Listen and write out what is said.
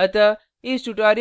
हैं